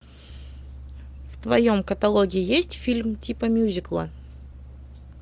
в твоем каталоге есть фильм типа мюзикла